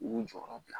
U y'u jɔyɔrɔ bila